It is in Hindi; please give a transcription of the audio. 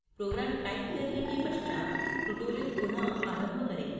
program टाइप करने के पश्चात tutorial पुनः आरंभ करें